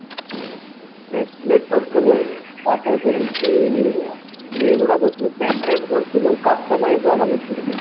bracelet କରୁଥିଲୁ ତାପରେ ଯାଇଙ୍କି ଇଏ ଗୁଡା pendant କରୁଥିଲୁ customize ବାଲା କରୁଥିଲୁ ତାକୁ